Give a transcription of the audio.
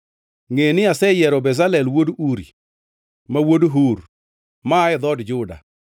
“Ngʼe ni aseyiero Bezalel wuod Uri, ma wuod Hur, maa e dhood Juda,